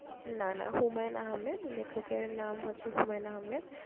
না না হুমায়ন আহম্মেদ লেখকের নাম হচ্ছে হুমায়ন আহম্মেদ।